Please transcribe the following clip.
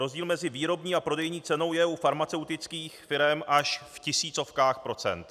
Rozdíl mezi výrobní a prodejní cenou je u farmaceutických firem až v tisícovkách procent.